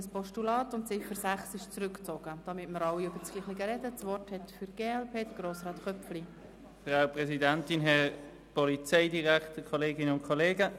Die Motionärin hat zuvor gesagt, sie wandle die Ziffer 2 in ein Postulat, und die Ziffer 6 ist zurückgezogen worden.